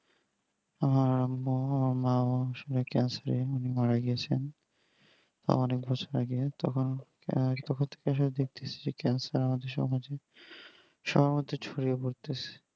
আর মো মা cancer উনি মারা গিয়েছেন তা অনেক বছর আগে তখন বহু লোক দেখতে এসেছে cancer আমাদের সমাজে সবার মধ্যে ছড়িয়ে পড়তেছে